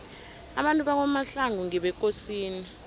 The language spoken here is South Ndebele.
abantu bakwamahlangu ngebekosini